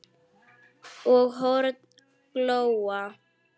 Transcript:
og horn glóa